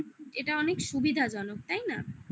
এটা অনেক সুবিধাজনক তাই না?